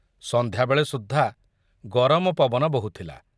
ସନ୍ଧ୍ୟାବେଳେ ସୁଦ୍ଧା ଗରମ ପବନ ବୋହୁଥିଲା।